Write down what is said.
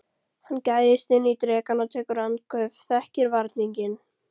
Hann gægist inn í drekann og tekur andköf, þekkir varninginn.